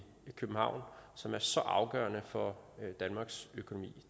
københavn som er så afgørende for danmarks økonomi